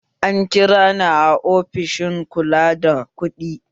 An kira ni a ofishin kula da kuɗi